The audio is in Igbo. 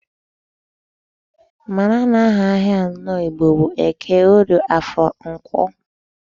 Mara na aha ahịa anọ Igbo bụ Eke, Orie, Afọ na Nkwọ.